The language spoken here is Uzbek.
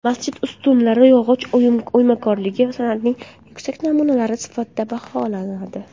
Masjid ustunlari yog‘och o‘ymakorligi san’atining yuksak namunalari sifatida baholanadi.